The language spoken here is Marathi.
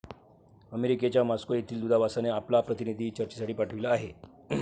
अमेरिकेच्या मॉस्को येथील दूतावासाने आपला प्रतिनिधी चर्चेसाठी पाठविला आहे.